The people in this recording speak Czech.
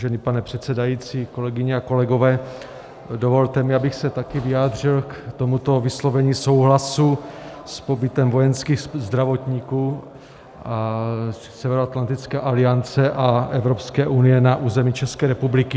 Vážený pane předsedající, kolegyně a kolegové, dovolte mi, abych se také vyjádřil k tomuto vyslovení souhlasu s pobytem vojenských zdravotníků Severoatlantické aliance a Evropské unie na území České republiky.